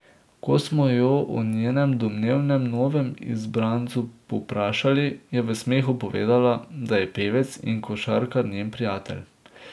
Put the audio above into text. Ko smo jo o njenem domnevnem novem izbrancu povprašali, je v smehu povedala, da je pevec in košarkar njen prijatelj.